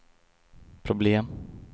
problem